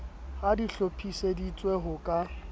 ha di hlophiseditswe ho ka